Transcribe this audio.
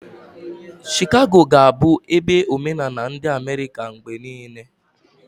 Shikago ga-abụ ebe omenala ndi Amerika mgbe niile.